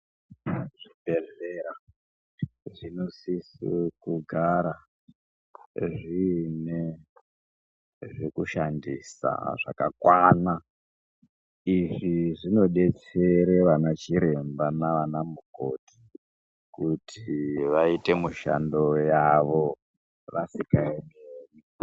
Zvibhedhlera zvinosise kugara zviine zvekushandisa zvakakwana. Izvi zvinodetsere ana chiremba nana mukoti kuti vaite mushando yavo vasikaemi-emi.